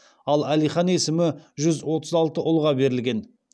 ал әлихан есімі жүз отыз алты ұлға берілген